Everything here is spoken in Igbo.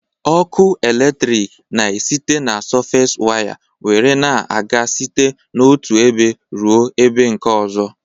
Ọkụ eletrik na esite na sọfes waya nwere na-aga site n'otụ ebe rụọ ebe nke ọzọ